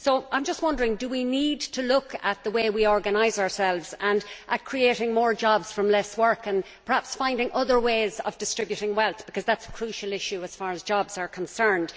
I am just wondering whether we should not look at the way we organise ourselves, and at creating more jobs from less work, and perhaps at finding other ways of distributing wealth, because that is a crucial issue as far as jobs are concerned.